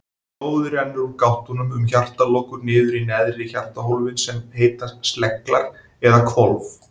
Blóðið rennur úr gáttunum um hjartalokur niður í neðri hjartahólfin sem heita sleglar eða hvolf.